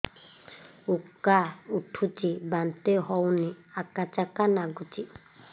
ଉକା ଉଠୁଚି ବାନ୍ତି ହଉନି ଆକାଚାକା ନାଗୁଚି